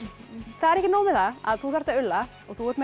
það er ekki nóg með það að þú þarft að ulla og þú ert með